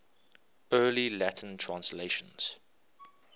early latin translations